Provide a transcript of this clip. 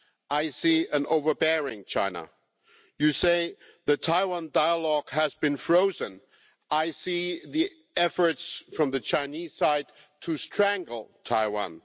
I see an overbearing China. You say the Taiwan dialogue has been frozen. I see the efforts from the Chinese side to strangle Taiwan.